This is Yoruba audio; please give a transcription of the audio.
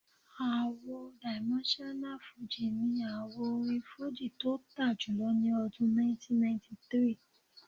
Àwo Dimensional Fújì ni àwo orin fújì tó tà jùlọ ní ọdún 1993